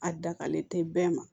A dagalen tɛ bɛɛ ma